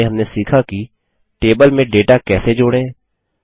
संक्षेप में हमने सीखा कि टेबल में डेटा कैसे जोड़ें